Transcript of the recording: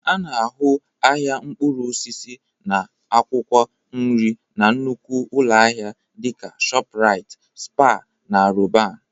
A na-ahụ ahịa mkpụrụ osisi na akwụkwọ nri na nnukwu ụlọ ahịa dị ka Shoprite, Spar na Roban